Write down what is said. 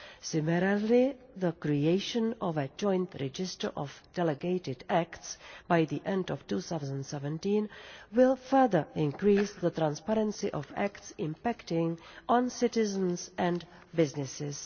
Similarly, the creation of a joint the register of delegated acts by the end of 2017 will further increase the transparency of acts impacting on citizens and businesses.